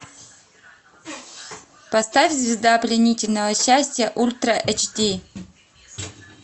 поставь звезда пленительного счастья ультра эйч ди